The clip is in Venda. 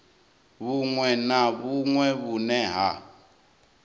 vhuṅwe na vhuṅwe vhune ha